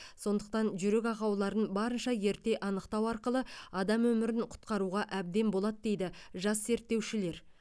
сондықтан жүрек ақауларын барынша ерте анықтау арқылы адам өмірін құтқаруға әбден болады дейді жас зерттеушілер